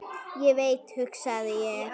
Ég veit hugsaði ég.